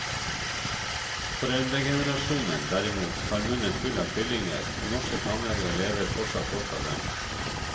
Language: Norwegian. Foreldregenerasjonen, derimot, har munnen full av fyllinger, og norske tannleger lever fortsatt godt av dem.